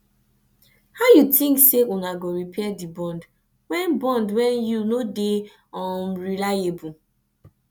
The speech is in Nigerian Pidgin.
how you tink sey una go repair di bond wen bond wen you no dey um reliable